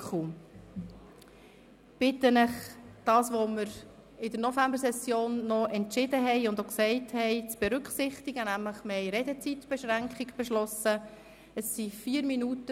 Ich bitte Sie, die Redezeitbeschränkung zu berücksichtigen, die wir in der Novembersession beschlossen haben.